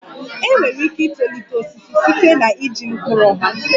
Enwere ike itolite osisi site na iji mkpụrụ ha